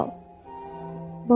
Əl çal!